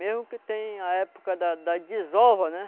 Mesmo que tenha a época da da desova, né?